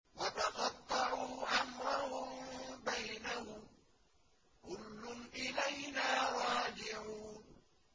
وَتَقَطَّعُوا أَمْرَهُم بَيْنَهُمْ ۖ كُلٌّ إِلَيْنَا رَاجِعُونَ